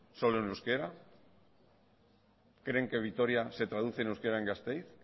solo en euskara creen que vitoria se traduce en euskara en gasteiz